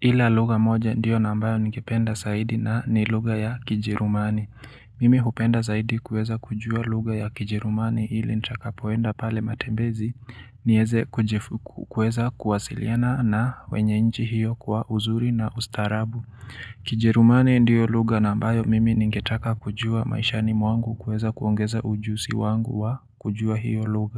Ila lugha moja ndiyo na ambayo ningependa zaidi na ni lugha ya kijerumani. Mimi hupenda zaidi kuweza kujua lugha ya kijerumani ili nitakapoenda pale matembezi niweze kuweza kuwasiliana na wenye nchi hiyo kwa uzuri na ustaarabu. Kijerumani ndiyo lugha na ambayo mimi ningetaka kujua maishani mwangu kuweza kuongeza ujuzi wangu wa kujua hiyo lugha.